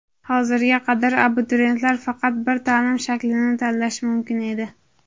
Hozirga qadar abituriyentlar faqat bir ta’lim shaklini tanlashi mumkin edi.